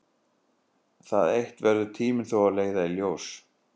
Það eitt verður tíminn þó að leiða í ljós.